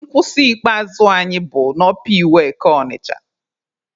Nkwụsị ikpeazụ anyị bụ n'ọpa iweka Ọnịcha.